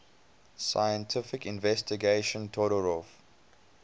scientific investigation todorov